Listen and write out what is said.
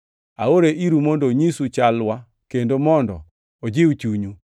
Aore iru mondo onyisu chalwa kendo mondo ojiw chunyu.